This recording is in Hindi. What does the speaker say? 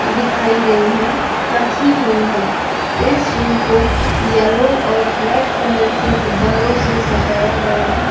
दिखाई गई हैं रखी हुईं हैं इस जिम को येलो और ब्लैक कलर के गुब्बारों से सजाया गया है।